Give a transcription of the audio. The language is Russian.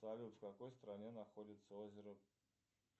салют в какой стране находится озеро